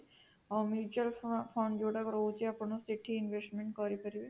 ଆଉ mutual fund ଯୋଉଟା କ ରହୁଛି ସେଠି ଆପଣ investment କରି ପାରିବେ